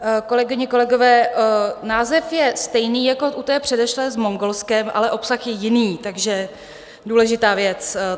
Kolegyně, kolegové, název je stejný jako u té předešlé s Mongolskem, ale obsah je jiný, takže důležitá věc.